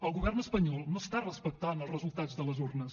el govern espanyol no està respectant els resultats de les urnes